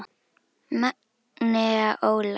Magnea Ólafs.